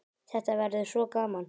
Þetta verður svo gaman.